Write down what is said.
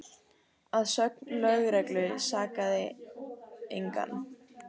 Að sögn lögreglu sakaði engan